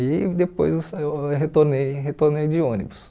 E depois eu retornei retornei de ônibus.